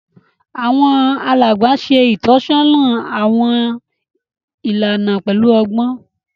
Àwọn alàgbà ṣe itọsọna awọn ìlànà pẹlu ọgbọn